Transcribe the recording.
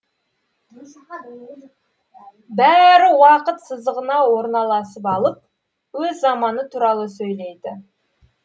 бәрі уақыт сызығына орналасып алып өз заманы туралы сөйлейді